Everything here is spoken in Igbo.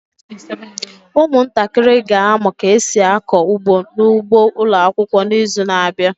Ụmụntakịrị ga-amụ ka esi akọ ugbo n'ugbo ụlọakwụkwọ n'izu n'abịa.